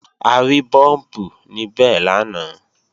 A rí búùmpù níbẹ̀ lánàá